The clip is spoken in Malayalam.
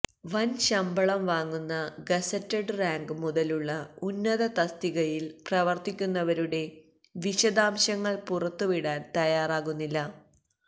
വന് ശമ്പളം വാങ്ങുന്ന ഗസറ്റഡ് റാങ്ക് മുതലുള്ള ഉന്നത തസ്തികയില് പ്രവര്ത്തിക്കുന്നവരുടെ വിശദാംശങ്ങള് പുറത്തു വിടാന് തയ്യാറാകുന്നില്ല